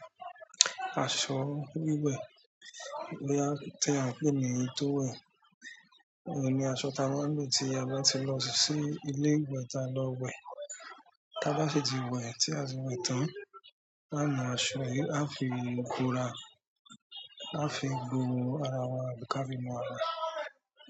Aṣọ wíwẹ̀ biya ti a n pé ni towel, òun ni aṣọ tí a máa lo tí a bá ti lọ sí ilé ìwẹ̀ tá lọ wẹ̀, tá bá sì ti wẹ̀ tí a ti wẹ̀ tán, ao mu aṣọ yìí a fi núra, a fi gbo ara wa bí ká fi nú ara wa.